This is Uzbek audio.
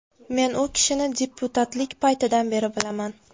Men u kishini deputatlik paytidan beri bilaman.